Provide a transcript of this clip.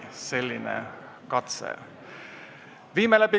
Selline katse.